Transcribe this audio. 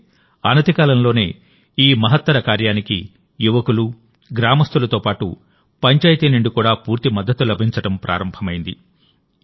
అయితే అనతికాలంలోనే ఈ మహత్తర కార్యానికి యువకులు గ్రామస్థులతో పాటు పంచాయతీ నుండి కూడా పూర్తి మద్దతు లభించడం ప్రారంభమైంది